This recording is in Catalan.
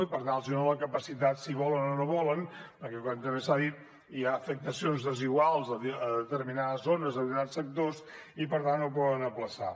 i per tant els dona la capacitat si volen o no volen perquè com també s’ha dit hi ha afectacions desiguals a determinades zones a determinats sectors i per tant el poden aplaçar